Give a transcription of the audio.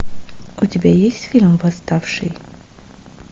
у тебя есть фильм восставший